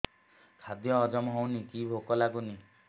ଖାଦ୍ୟ ହଜମ ହଉନି କି ଭୋକ ଲାଗୁନି